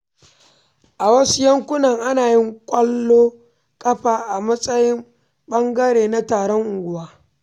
A wasu yankuna, ana yin ƙwallon ƙafa a matsayin ɓangare na taron unguwa.